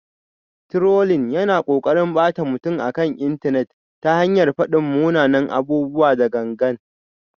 Trolling yana ƙoƙarin ɓata mutum akan intanet ta hanyar faɗin munanan abubuwa da gangan.